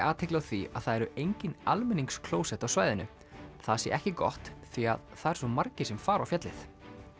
athygli á því að það eru engin almenningsklósett á svæðinu það sé ekki gott því það eru svo margir sem fara á fjallið